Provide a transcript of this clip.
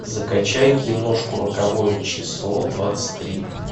закачай киношку роковое число двадцать три